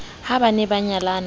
ha ba ne ba nyalana